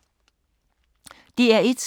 DR1